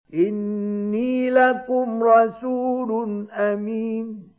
إِنِّي لَكُمْ رَسُولٌ أَمِينٌ